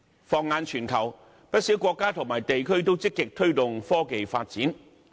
放眼全球，不少國家及地區均積極推動科技發展。